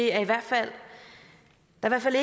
er i hvert fald